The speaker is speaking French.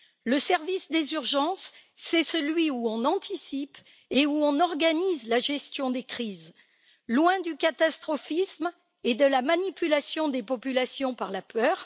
Le service des urgences, c'est celui où l'on anticipe et organise la gestion des crises, loin du catastrophisme et de la manipulation des populations par la peur.